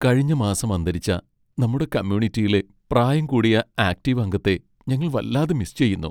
കഴിഞ്ഞ മാസം അന്തരിച്ച നമ്മുടെ കമ്മ്യൂണിറ്റിയിലെ പ്രായും കൂടിയ ആക്ടീവ് അംഗത്തെ ഞങ്ങൾ വല്ലാതെ മിസ് ചെയ്യുന്നു.